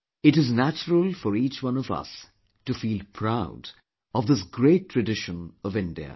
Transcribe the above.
It is natural for each one of us to feel proud of this great tradition of India